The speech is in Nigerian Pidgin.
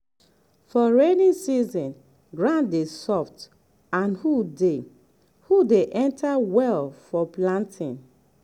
for rainy season ground dey soft and hoe dey hoe dey enter well for planting.